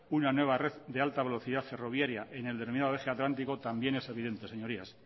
una nueva red de alta velocidad ferroviaria en el denominado eje atlántico también es evidente señorías